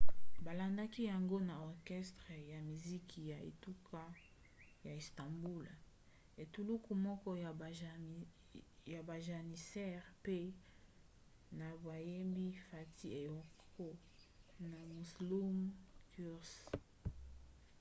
balandaki yango na orchestre ya miziki ya etuka ya istanbul etuluku moko ya bajanissaires mpe na bayembi fatih erkoç na müslüm gürses